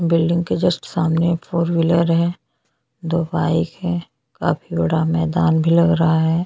बहोत ही सूंदर बिल्डिंग बनी है।